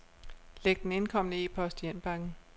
Læg den indkomne e-post i indbakken.